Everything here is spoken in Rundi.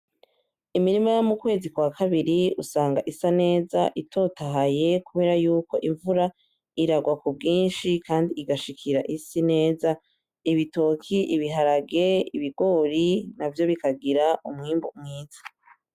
Imirima yomukwezi kwakabiri usanga isa neza itotaye kubera yuko imvura irarwa kubwinshi kandi igashikira isi neza, ibitoki ibiharage N’ibigori navyo bikagira umwibu mwiza.